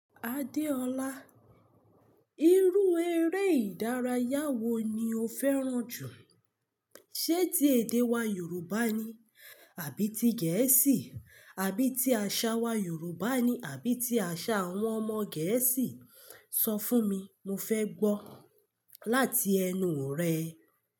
Adeola, irú eré ìdárayá wo ni o fẹ́ràn jù? Ṣé ti èdè wa Yorùbá ni? Àbí ti Gẹ̀ẹ́sì? Àbí ti àṣà wa Yorùbá ni? Àbí ti àṣà àwọn ọmọ Gẹ̀ẹ́sì? So fun mi mo fe gbo lati enu re.